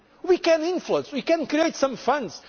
us be honest employment is mainly a national